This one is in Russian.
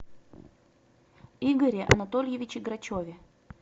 игоре анатольевиче грачеве